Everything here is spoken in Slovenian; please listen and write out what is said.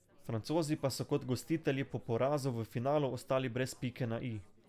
Francozi pa so kot gostitelji po porazu v finalu ostali brez pike na i.